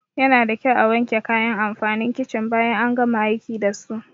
Yanada kyau a wanke kayan amfanin kicin bayan an gama aiki dasu.